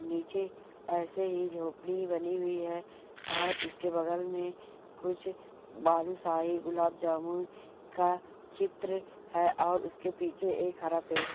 नीचे ऐसे ही झोपड़ी बनी हुई है और उसके बगल में कुछ बालूसाही गुलाब जामुन का चित्र है और उसके पीछे एक हरा पेड़ है।